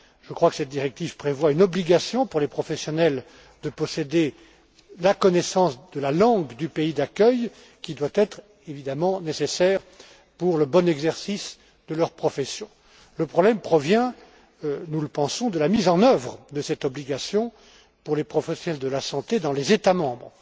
Je crois que cette directive prévoit une obligation pour les professionnels de posséder la connaissance de la langue du pays d'accueil qui est évidemment nécessaire pour le bon exercice de leur profession. Le problème provient, nous le pensons, de la mise en œuvre de cette obligation pour les professionnels de la santé dans les États membres.